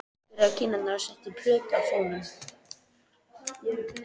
Hann sló rakspíra á kinnarnar og setti plötu á fóninn.